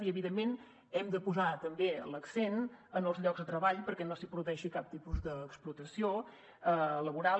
i evidentment hem de posar també l’accent en els llocs de treball perquè no s’hi produeixi cap tipus d’explotació laboral